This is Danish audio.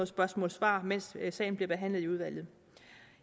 spørgsmålsvar mens sagen bliver behandlet i udvalget